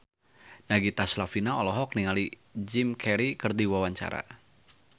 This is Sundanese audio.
Nagita Slavina olohok ningali Jim Carey keur diwawancara